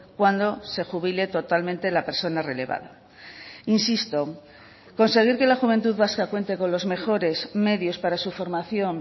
cuando se jubile totalmente la persona relevada insisto conseguir que la juventud vasca cuente con los mejores medios para su formación